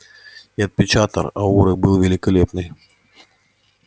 и отпечаток ауры был великолепный